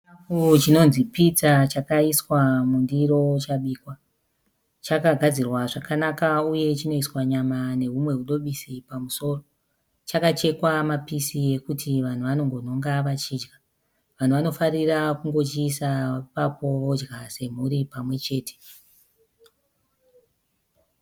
Chikafu chinonzi pizza chakaiswa mundiro chabikwa. Chakagadzirwa zvakanaka uye chinoiswa nyama nehumwe hudobisi pamusoro. Chakachekwa mapisi ekuti vanhu vanongo nhonga vachidya. Vanhu vanongofarira kungochiisa ipapo vodya semhuri pamwechete.